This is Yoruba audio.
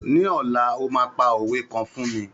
Ní ọ̀la, o máa pa òwe kan fún mi.